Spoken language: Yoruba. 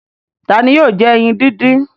Ta ni yóò jẹ ẹyin dídín?